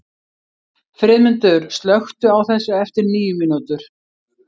Friðmundur, slökktu á þessu eftir níu mínútur.